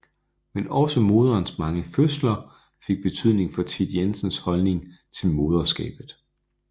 Men også moderens mange fødsler fik betydning for Thit Jensens holdning til moderskabet